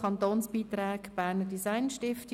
Kantonsbeiträge Berner Design Stiftung.